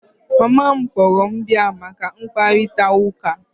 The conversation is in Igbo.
Mama m kpọrọ m bia maka mkparịta ụka